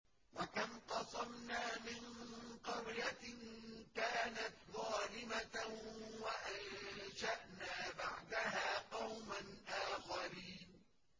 وَكَمْ قَصَمْنَا مِن قَرْيَةٍ كَانَتْ ظَالِمَةً وَأَنشَأْنَا بَعْدَهَا قَوْمًا آخَرِينَ